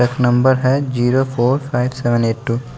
number हैजीरो four five seven eight two --